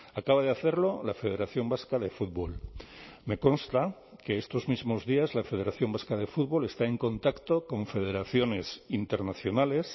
acaba de hacerlo la federación vasca de fútbol me consta que estos mismos días la federación vasca de fútbol está en contacto con federaciones internacionales